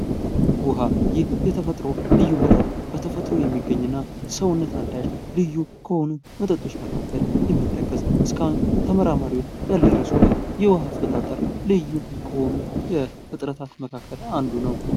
ውሃ ይህ የተፈጥሮ ልዩ መጠጥ በተፈጥሮ የሚገኙ እና ሰውነት አዳሽ ልዩ ከሆኑ መጠጦች መካከል የሚጠቀስ እስካሁን ተመራማሪዎች ያልደረሱበት የውሃ አፈጣጠር ልዩ ከሆኑ ፍጥረታት መካከል አንዱ ነው።